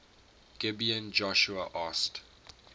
gibeon joshua asked